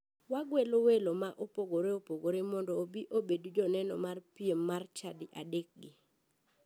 Wagwelo welo ma opogore opogore mondo obi obedi joneno mar piem mar chadi adekgi.